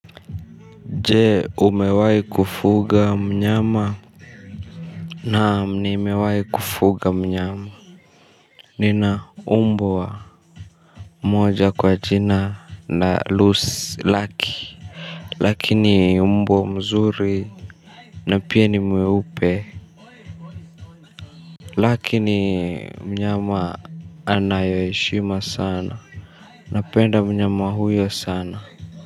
Je umewai kufuga mnyama. Naam ni imewai kufuga mnyama. Nina umbwa moja kwa jina na loose laki. Lakini umbwa mzuri. Na pia ni mweupe. Lakini mnyama anayoeshima sana. Napenda mnyama huyo sana.